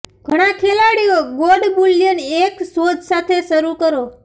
ઘણા ખેલાડીઓ gold bullion એક શોધ સાથે શરૂ કરો